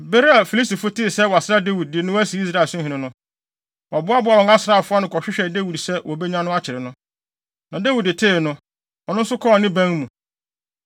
Bere a Filistifo tee sɛ wɔasra Dawid, de no asi Israelhene no, wɔboaboaa wɔn asraafo ano, kɔhwehwɛɛ Dawid sɛ wobenya no akyere no. Na Dawid tee no, ɔno nso kɔɔ ne ban mu.